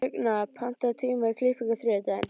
Högna, pantaðu tíma í klippingu á þriðjudaginn.